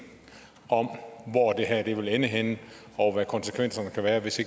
om hvor det her vil ende henne og hvad konsekvenserne vil være hvis